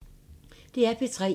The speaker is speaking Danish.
DR P3